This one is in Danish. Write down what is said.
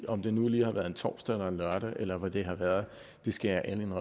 om det nu lige har været en torsdag eller en lørdag eller hvad det har været skal jeg ærligt